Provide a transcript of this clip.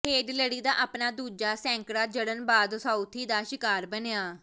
head ਲੜੀ ਦਾ ਆਪਣਾ ਦੂਜਾ ਸੈਂਕੜਾ ਜੜਨ ਬਾਅਦ ਸਾਉਥੀ ਦਾ ਸ਼ਿਕਾਰ ਬਣਿਆ